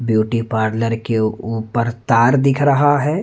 Beauty parlour के ऊपर तार दिख रहा है।